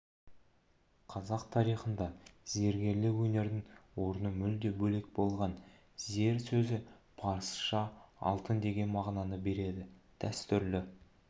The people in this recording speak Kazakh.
қазақ тарихында зергерлік өнердің орны мүлде бөлек болған зер сөзі парсыша алтын деген мағына береді дәстүрлі